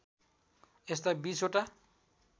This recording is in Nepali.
यस्ता २० वटा